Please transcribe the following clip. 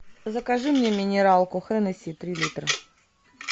закажи мне минералку хеннесси три литра